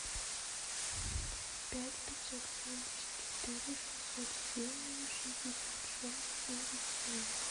пять пятьсот семьдесят четыре шестьсот семь шестьдесят шесть девять семь